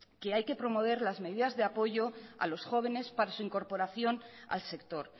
que hay que promover las medidas de apoyo a los jóvenes para su incorporación al sector